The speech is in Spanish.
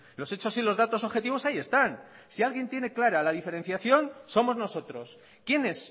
los hechos y los datos objetivos ahí están si alguien tiene clara la diferenciación somos nosotros quiénes